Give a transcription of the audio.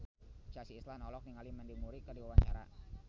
Chelsea Islan olohok ningali Mandy Moore keur diwawancara